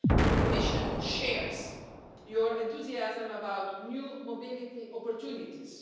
The Commission shares your enthusiasm about new mobility opportunities.